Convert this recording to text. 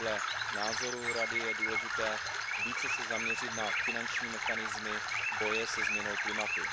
Podle názoru Rady je důležité více se zaměřit na finanční mechanismy boje se změnou klimatu.